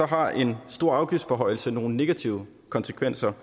har en stor afgiftsforhøjelse nogle negative konsekvenser